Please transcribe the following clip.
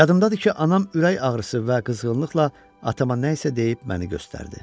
Yadımdadır ki, anam ürək ağrısı və qızğınlıqla atama nəsə deyib məni göstərdi.